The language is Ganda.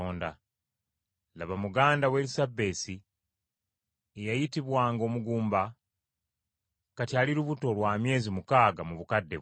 Laba, muganda wo Erisabesi eyayitibwanga omugumba, kati ali lubuto lwa myezi mukaaga mu bukadde bwe.